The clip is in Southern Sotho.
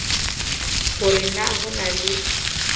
hore na ho na le